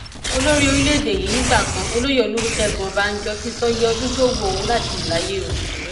olórí orílẹèdè yìí nìgbà kan olóye olùṣègùn ọbànjọ ti sọ iye ọdún tó wu òun láti lò láyé o